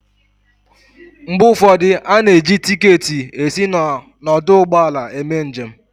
Mgbe ụfọdụ, a na-eji tiketi esi n'ọdụ ụgbọala eme njem